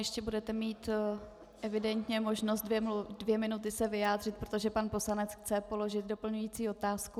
Ještě budete mít evidentně možnost dvě minuty se vyjádřit, protože pan poslanec chce položit doplňující otázku.